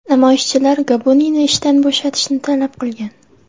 Namoyishchilar Gabuniyni ishdan bo‘shatishni talab qilgan.